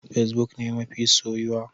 Fesbuk ne mafi soyuwa.